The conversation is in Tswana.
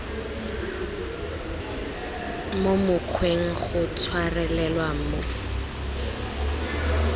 mo mokgweng go tshwarelelwa mo